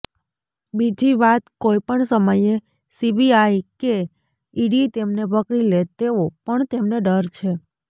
બીજીવાત કોઈપણ સમયે સીબીઆઈ કે ઇડી તેમને પકડી લે તેવો પણ તેમને ડર છે